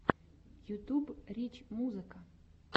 ютьюб рич музыка